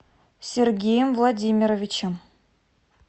сергеем владимировичем